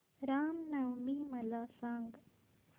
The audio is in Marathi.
राम नवमी मला सांग